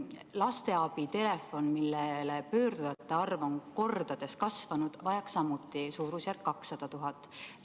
Lasteabi telefon, millele pöördujate arv on mitu korda kasvanud, vajaks samuti umbes 200 000 eurot.